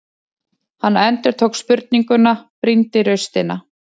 Hann endurtók spurninguna, brýndi raustina.